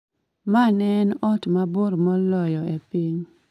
ma ne en ot mabor moloyo e piny